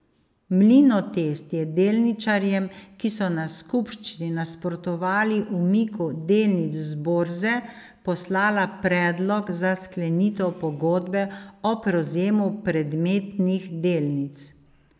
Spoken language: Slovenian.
Mlinotest je delničarjem, ki so na skupščini nasprotovali umiku delnic z borze, poslala predlog za sklenitev pogodbe o prevzemu predmetnih delnic.